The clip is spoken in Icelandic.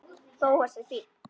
Bóas er fínn.